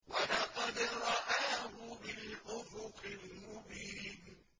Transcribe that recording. وَلَقَدْ رَآهُ بِالْأُفُقِ الْمُبِينِ